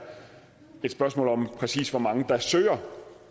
et spørgsmål om præcis hvor mange der søger